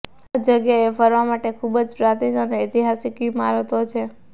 આ જગ્યાએ ફરવા માટે ખૂબ જ પ્રાચીન અને ઐતિહાસિક ઇમારતો છે